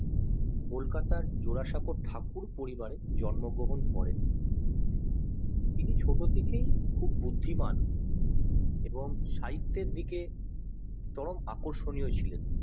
কলকাতার জোড়াসাঁকোর ঠাকুর পরিবারে জন্ম গ্রহণ করেন তিনি ছোট থেকেই খুব বুদ্ধিমান এবং সাহিত্যের দিকে চরম আকর্ষণীয় ছিলেন